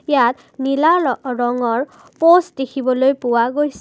ইয়াত নীলা ল ৰঙৰ প'ষ্ট দেখিবলৈ পোৱা গৈছে।